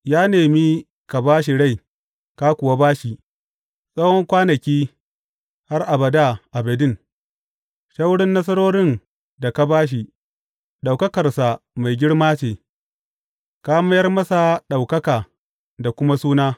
Ya nemi ka ba shi rai, ka kuwa ba shi, tsawo kwanaki, har abada abadin Ta wurin nasarorin da ka ba shi, ɗaukakarsa mai girma ce; ka mayar masa ɗaukaka da kuma suna.